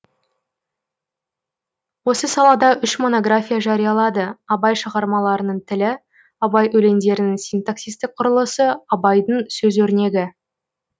осы салада үш монография жариялады абай шығармаларының тілі абай өлеңдерінің синтаксистік құрылысы абайдың сөз өрнегі